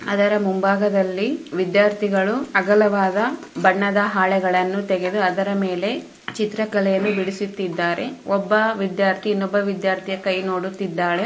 ಅದರ ಮುಂಭಾಗದಲ್ಲಿ ವಿದ್ಯಾರ್ಥಿಗಳು ಅಗಲವಾದ ಬಣ್ಣದ ಹಾಳೆಗಳನ್ನು ತೆಗೆದು ಅದರ ಮೇಲೆ ಚಿತ್ರಕಲೆಯನ್ನು ಬಿಡಿಸುತ್ತಿದ್ದಾರೆ ಒಬ್ಬ ವಿದ್ಯಾರ್ಥಿ ಇನ್ನೊಬ್ಬ ವಿದ್ಯಾರ್ಥಿ ಕೈ ನೋಡುತ್ತಿದ್ದಾಳೆ.